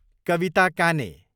कविता काने